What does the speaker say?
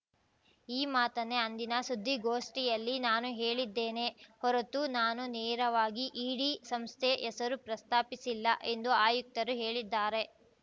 ಈ ಮಾತನ್ನೇ ಅಂದಿನ ಸುದ್ದಿಗೋಷ್ಠಿಯಲ್ಲಿ ನಾನು ಹೇಳಿದ್ದೇನೆ ಹೊರತು ನಾನು ನೇರವಾಗಿ ಇಡಿ ಸಂಸ್ಥೆ ಹೆಸರು ಪ್ರಸ್ತಾಪಿಸಿಲ್ಲ ಎಂದು ಆಯುಕ್ತರು ಹೇಳಿದ್ದಾರೆ